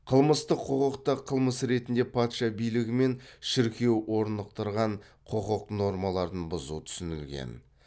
қылмыстық құқықта қылмыс ретінде патша билігі мен шіркеу орнықтырған құқық нормаларын бұзу түсінілген